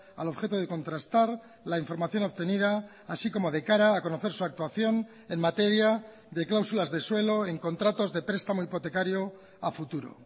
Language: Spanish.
al objeto de contrastar la información obtenida así como de cara a conocer su actuación en materia de cláusulas de suelo en contratos de prestamo hipotecario a futuro